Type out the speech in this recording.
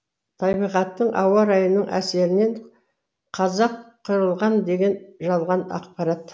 табиғаттың ауа райының әсерінен қазақ қырылған деген жалған ақпарат